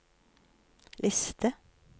liste